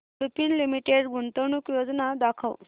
Lupin Limited गुंतवणूक योजना दाखव